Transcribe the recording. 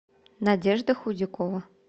надежда худякова